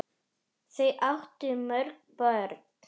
Þau áttu mörg börn.